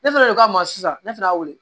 Ne fɛnɛ de ka ma sisan ne fɛnɛ y'a wele